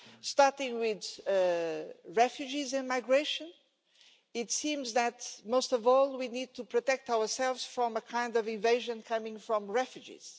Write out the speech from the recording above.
Starting with refugees and migration, it seems that most of all we need to protect ourselves from a kind of invasion coming from refugees.